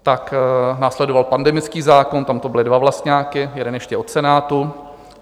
Pak následoval pandemický zákon, tam to byly dva vlastňáky, jeden ještě od Senátu.